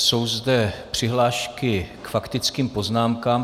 Jsou zde přihlášky k faktickým poznámkám.